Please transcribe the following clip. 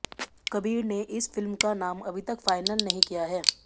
कबीर ने इस फिल्म का नाम अभी तक फाइनल नहीं किया है